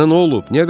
Sənə nə olub?